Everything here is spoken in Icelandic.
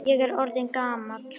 Ég er orðinn gamall.